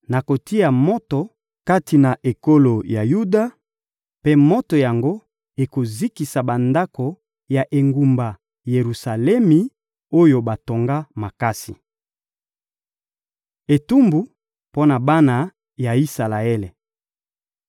Nakotia moto kati na ekolo ya Yuda, mpe moto yango ekozikisa bandako ya engumba Yelusalemi, oyo batonga makasi.» Etumbu mpo na bana ya Isalaele